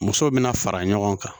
Musow bɛna fara ɲɔgɔn kan